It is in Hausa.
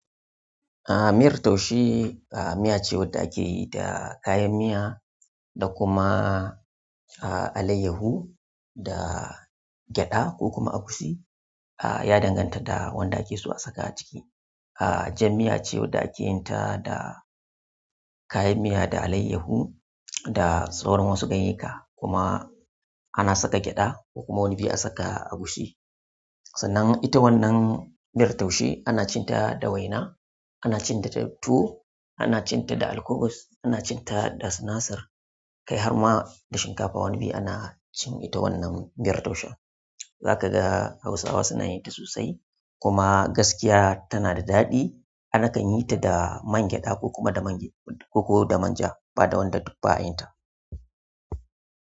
Aha, miyar taushe, aha, miya ce wadda ake yi da kayan miya da kuma alaiyahu da gyaɗa ko kuma agushi. Ya danganta da wanda ake so a saka a ciki. Aha, jan miya ce wadda ake yin ta da kayan miya da alaiyahu da sauran wasu ganyeka kuma ana saka gyaɗa ko kuma wani bi a saka agushi. Sannan ita wannan miyar taushe ana cin ta da waina, ana cin ta da tuwo, ana cin ta da alkubus, ana cin ta da sinasir, kai har ma da shinkafa wani bi ana cin ita wannan miyar taushen. Zaka ga Hausawa suna yin ta sosai kuma gaskiya tana da daɗi. Ana kan yin ta da man gyaɗa ko kuma da man gyaɗa ko da manja, ba da wanda duk ba a yin ta.